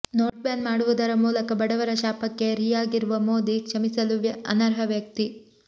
note ban ಮಾಡುವುದರ ಮೂಲಕ ಬಡವರ ಶಾಪಕ್ಕೆ ುರಿಯಾಗಿರುವ ಮೋದಿ ಕ್ಷಮಿಸಲು ಅನರ್ಹವ್ಯಕ್ತಿ